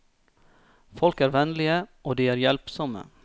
Folk er vennlige, og de er hjelpsomme.